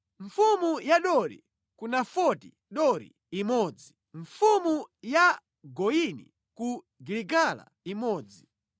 mfumu ya Dori ku Nafoti Dori imodzi mfumu ya Goyini ku Giligala imodzi